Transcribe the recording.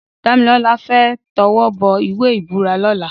Damilola fè tèwòbò iwé ibúrà lòlá